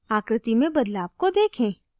आकृति में बदलाव को देखें